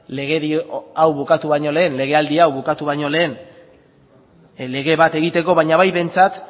legedi hau bukatu baino lehen legealdi hau bukatu baino lehen lege bat egiteko baina bai behintzat